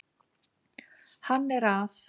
Hann er að